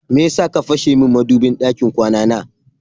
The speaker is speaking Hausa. Meyasa ka fashe min madubin ɗakin kwana na?